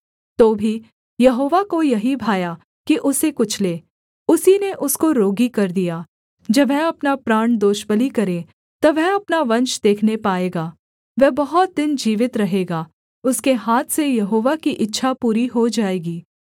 तो भी यहोवा को यही भाया कि उसे कुचले उसी ने उसको रोगी कर दिया जब वह अपना प्राण दोषबलि करे तब वह अपना वंश देखने पाएगा वह बहुत दिन जीवित रहेगा उसके हाथ से यहोवा की इच्छा पूरी हो जाएगी